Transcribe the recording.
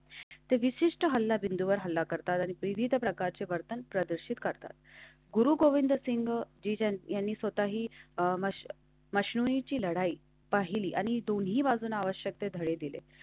तेवीस हल्ला बिंदूवर हल्ला करतात आणि प्रीत प्रकारचे वर्तन प्रदर्शित करतात. गुरुगोविंद सिंग यांनी स्वतःही मशीनीची लढाई पाहिली आणि दोन्ही बाजूना आवश्यक ते धडे दिले.